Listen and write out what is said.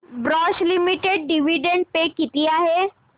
Bosch limited dividend पे किती आहे